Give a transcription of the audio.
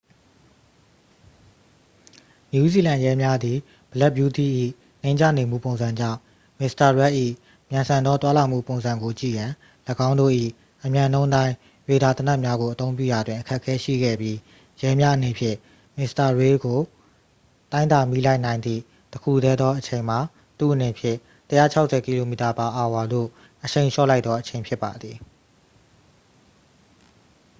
နယူးဇီလန်ရဲများသည် black beauty ၏နိမ့်ကျနေမှု ပုံစံကြောင့် မစ္စတာရက်ဒ် ၏ မြန်ဆန်သော သွားလာမှုပုံစံကိုကြည့်ရန် ၎င်းတို့၏အမြန်နှုန်းတိုင်း ရေဒါသေနတ်များကို အသုံးပြုရာတွင် အခက်အခဲရှိခဲ့ပြီး၊ ရဲများအနေဖြင့် မစ္စတာရေးတ် ကို တိုင်းတာမိလိုက်နိုင်သည့် တစ်ခုတည်းသောအချိန်မှာ သူ့အနေဖြင့် ၁၆၀km/h သို့ အရှိန်လျှော့ လိုက်သောအချိန် ဖြစ်ပါသည်။